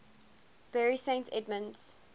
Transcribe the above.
bury st edmunds